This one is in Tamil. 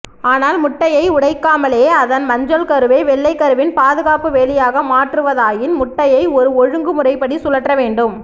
ஆனால் முட்டையை உடைக்காமலே அதன் மஞ்சள் கருவை வெள்ளைக்கருவின் பாதுகாப்பு வேலியாக மாற்றுவதாயின் முட்டையை ஒரு ஒழுங்கு முறைப்படி சுழற்றவேண்டும்